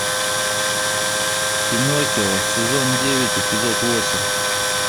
пиноккио сезон девять эпизод восемь